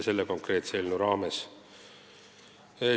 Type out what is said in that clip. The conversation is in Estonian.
Selle konkreetse eelnõu muutmisega seda teha ei saa.